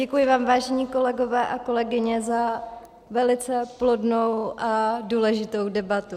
Děkuji vám, vážení kolegové a kolegyně, za velice plodnou a důležitou debatu.